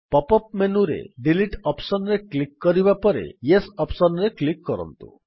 pop up ମେନୁରେ delete option ରେ click କରିବା ପରେ ୟେସ୍ ଅପ୍ସନ୍ ରେ କ୍ଲିକ୍ କରନ୍ତୁ